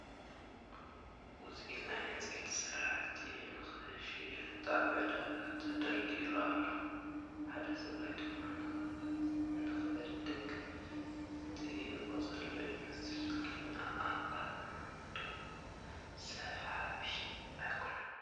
ውፅኢት ናይ ዕንፀይቲ ስራሕቲ ንኽሽየጥ ኣብ ዕዳጋ ተደቢሩ ኣሎ፡ ሓደ ሰብኣይ ድማ ንኽዕድግ ዝጥይቕ ዘሎ ይመስል፡ ግን ኣቐማምጥኡ ሰሓቢ ኣይኮነን ።